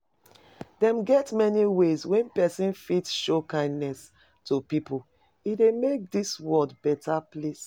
Dem get many ways wey persin fit show kindness to pipo e de make dis world better place